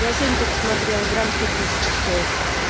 я сегодня только смотрела грамм сто тысяч стоит